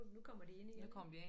Nu kommer de ind igen ja